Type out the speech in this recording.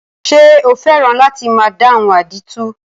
Ṣé o fẹ́ràn láti máa dáhùn àdìtú?